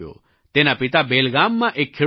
તેના પિતા બેલગામમાં એક ખેડૂત છે